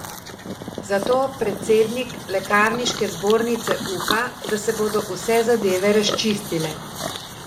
Zato predsednik lekarniške zbornice upa, da se bodo vse zadeve razčistile.